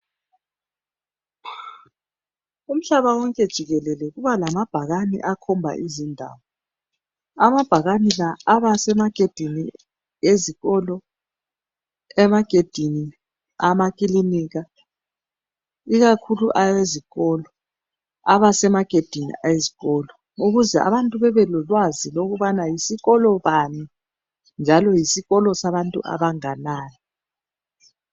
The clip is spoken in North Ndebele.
Umhlaba wonke jikelele kuba lamabhakane akhomba izindawo amabhakani la abasemagedini ezikolo emagedini amakilinika ikakhulu wezikolo aba semagedini weziikolo kuze abantu bebekwazi ukuthi yisikolo bani njalo ngesabantu abanganani.